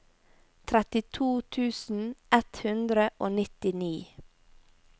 trettito tusen ett hundre og nittini